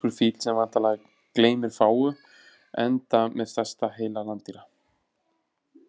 Asískur fíll sem væntanlega gleymir fáu enda með stærsta heila landdýra.